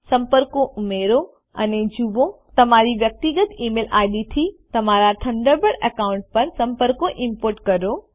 સંપર્કો ઉમેરો અને જુઓ તમારી વ્યક્તિગત ઇમેઇલ ઇડ થી તમારા થન્ડરબર્ડ એકાઉન્ટ પર સંપર્કો ઈમ્પોર્ટ કરો